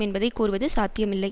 என்பதை கூறுவது சாத்தியமில்லை